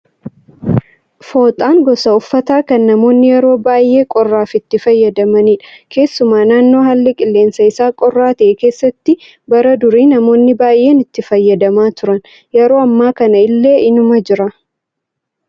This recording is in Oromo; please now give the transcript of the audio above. Fooxaan gosa uffataa kan namoonni yeroo baay'ee qorraaf itti fayyadamanidha. Keessumaa naannoo haalli qilleensaa isaa qorraaa ta'e keessatti bara durii namoonni baay'een itti fayyadamaa turan. Yeroo ammaa kana illee inuma jira